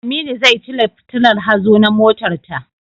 Aminu zai cire fitillar hazo na motarta.